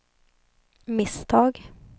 misstag